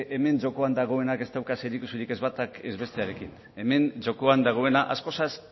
hemen jokoan dagoena ez dauka zerikusirik ez batak ez bestearekin hemen jokoan dagoena askozaz